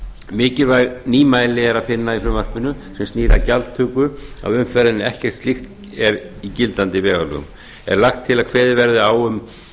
mikilvæg nýmæli er að finna í frumvarpi sem snýr að gjaldtöku af umferð en ekkert slíkt er í gildandi vegalögum er lagt til að kveðið verði á um